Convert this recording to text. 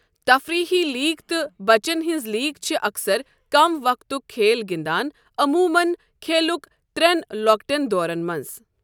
تفریٖحی league تہٕ بچَن ہٕنٛز لیگ چھِ اَکثر کم وقتُک کھیل گِنٛدان، عموٗمَن کھیلُٕک ترٛٮ۪ن لۄکٹٮ۪ن دورَن منٛز۔